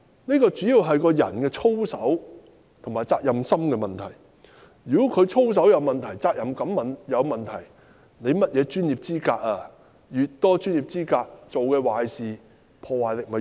問題主要是關乎人的操守及責任心，如果一個人的操守和責任感有問題，即使他具備甚麼專業資格也沒有用。